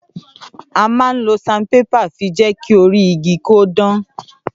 À ma ń lo sanpépà fí jẹki òrí ìgí kọ dàn